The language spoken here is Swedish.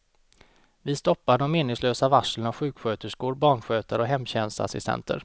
Vi stoppar de meningslösa varslen av sjuksköterskor, barnskötare och hemtjänstassistenter.